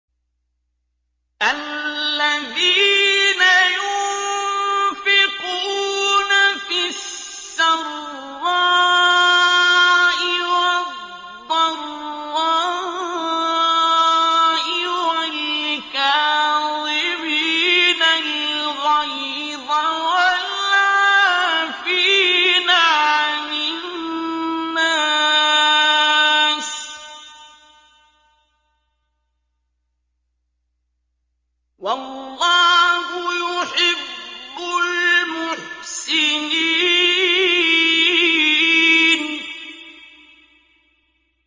الَّذِينَ يُنفِقُونَ فِي السَّرَّاءِ وَالضَّرَّاءِ وَالْكَاظِمِينَ الْغَيْظَ وَالْعَافِينَ عَنِ النَّاسِ ۗ وَاللَّهُ يُحِبُّ الْمُحْسِنِينَ